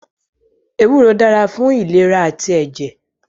Ewúro dára fún ìlera àti ẹ̀jẹ̀